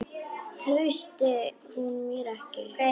Treysti hún mér ekki?